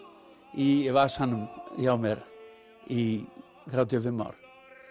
í vasanum hjá mér í þrjátíu og fimm ár